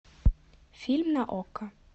фильм на окко